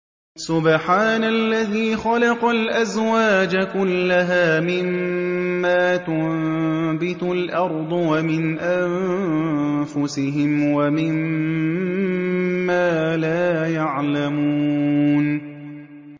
سُبْحَانَ الَّذِي خَلَقَ الْأَزْوَاجَ كُلَّهَا مِمَّا تُنبِتُ الْأَرْضُ وَمِنْ أَنفُسِهِمْ وَمِمَّا لَا يَعْلَمُونَ